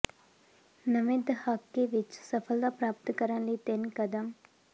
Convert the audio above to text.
ਨਵੇਂ ਦਹਾਕੇ ਵਿਚ ਸਫਲਤਾ ਪ੍ਰਾਪਤ ਕਰਨ ਲਈ ਤਿੰਨ ਕਦਮ